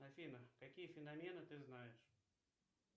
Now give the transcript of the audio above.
афина какие феномены ты знаешь